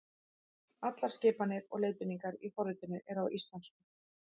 Allar skipanir og leiðbeiningar í forritinu eru á íslensku.